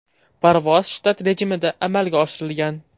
Parvoz shtat rejimida amalga oshirilgan.